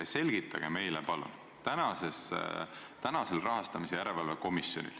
Selgitage meile palun aga seda.